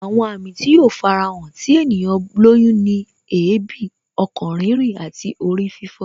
Àwọn àmì tí yóò fara hàn tí ènìyàn lóyún ni èébì, ọkàn rírìn àti orí fífọ